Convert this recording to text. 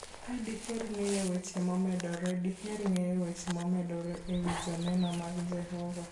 Ka diher ng'eyo weche momedore, diher ng'eyo weche momedore e wi Joneno mag Jehova.